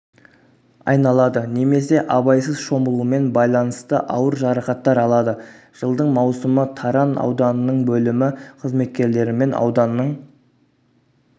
айналады немесе абайсыз шомылумен байланысты ауыр жарақаттар алады жылдың маусымы таран ауданының бөлімі қызметкерлерімен ауданның